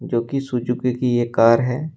जो कि सुजुकी की ये कार है।